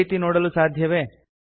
ಈ ರೀತಿಯಲ್ಲಿ ನೋಡಲು ಸಾಧ್ಯವೇ160